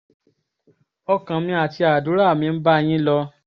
ọkàn mi àti àdúrà mi ń bá yín lọ